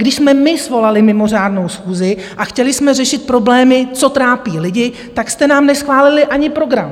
Když jsme my svolali mimořádnou schůzi a chtěli jsme řešit problémy, co trápí lidi, tak jste nám neschválili ani program!